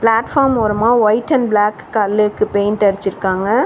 Platform ஓரமா white and black கல்லுக்கு paint அடிச்சிருக்காங்க.